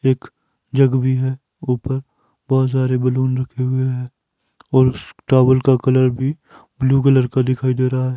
एक जग भी है ऊपर बहोत सारे बैलून रखे हुए हैं और टॉवल का कलर भी ब्लू कलर का दिखाई दे रहा है।